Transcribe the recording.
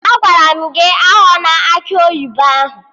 Agwara m gị aghọna akị oyibo ahụ!